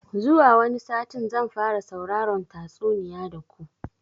Zuwa wani satin zan fara sauraron tatsuniya da ku